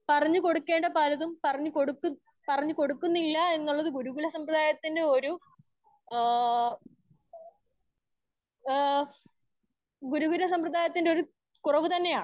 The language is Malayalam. സ്പീക്കർ 1 പറഞ്ഞു കൊടുക്കേണ്ട പലതും പറഞ്ഞു കൊടുത്തു പറഞ്ഞു കൊടുക്കുന്നില്ല എന്ന് ഉള്ളൊരു ഗുരുകുലം സംബ്രാതായതിൽ ഏ ഏ ഗുരു കുല സംബ്രിദായത്തിന്റെ ഒര്‌ കുറെവ് തന്നെയാണ്.